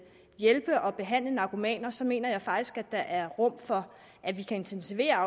hjælpe og behandle narkomaner så mener jeg faktisk at der er rum for at vi kan intensivere